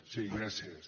sí gràcies